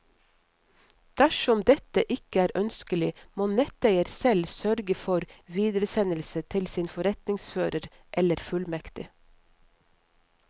Dersom dette ikke er ønskelig, må netteier selv sørge for videresendelse til sin forretningsfører eller fullmektig.